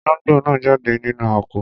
Olóngbò náà jáde nínú àpò.